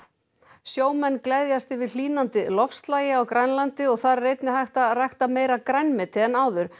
sjómenn gleðjast yfir hlýnandi loftslagi á Grænlandi og þar er einnig hægt að rækta meira grænmeti en áður